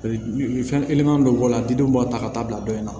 Fɛn kelen man dɔ bɔ a la didenw b'a ta ka taa bila dɔ in na